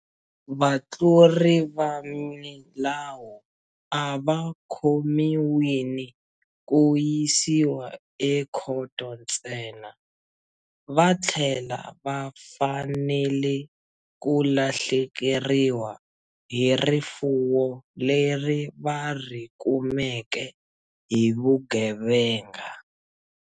Vatluri va milawu a va khomiwini ku yisiwa ekhoto ntsena, va tlhela va fanele ku lahlekeriwa hi rifuwo leri va ri kumeke hi vugevenga.